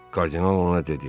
Kardinal ona dedi: